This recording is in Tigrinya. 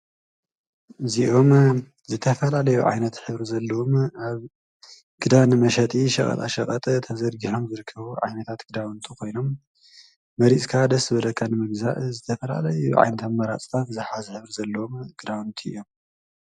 እዚአም ዝተፈላለዩ ዓይነት ሕብሪ ዘለዎም አብ ክዳን መሸጢ ሸቀጣሸቀጥ ተዘርጊሖም ዝርከቡ ዓይነትታት ክዳውንቲ ኮይኖም መሪፅካ ደስ ዝበለካ ንምግዛእ ዝተፈላለዩ ዓይነታት መማረፂ ዝሓዘ ዘለዎም ክዳውንቲ እዮም።